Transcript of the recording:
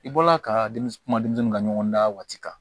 I bɔla ka denmisɛnnin kuma denmisɛnnin ka ɲɔgɔn dan waati kan